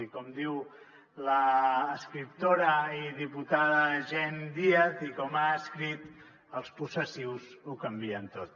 i com diu l’escriptora i diputada jenn díaz i com ha escrit els possessius ho canvien tot